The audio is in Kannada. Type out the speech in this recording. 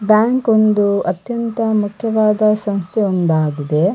ಬ್ಯಾಂಕ್ ಒಂದು ಅತ್ಯಂತ ಮುಖ್ಯವಾದ ಸಂಸ್ಥೆ ಒಂದಾಗಿದೆ .